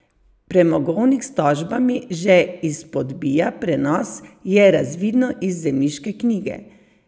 Premogovnik s tožbami že izpodbija prenos, je razvidno iz zemljiške knjige.